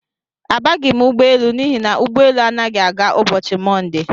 Abaghi m ụgbọelu n'ihi na ụgbọ élú anaghị aga ụbọchị Monde.